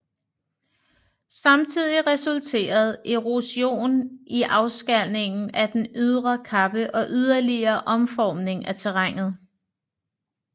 Samtidig resulterede erosion i afskalning af den ydre kappe og yderligere omformning af terrænet